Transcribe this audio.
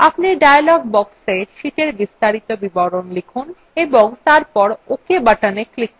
আপনি dialog box sheetএর বিস্তারিত বিবরণ লিখুন এবং তারপর ok button click করুন